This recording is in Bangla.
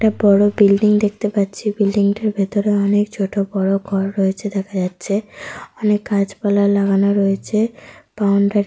একটা বড় বিল্ডিং দেখতে পাচ্ছি। বিল্ডিং টির ভিতরে অনেক ছোট বড় ঘর রয়েছে দেখা যাচ্ছে। অনেক গাছ পালা লাগানো রয়েছে। বাউন্ডারি --